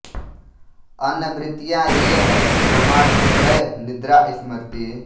अन्य वृत्तियाँ ये हैं प्रमाण विपर्यय निद्रा स्मृति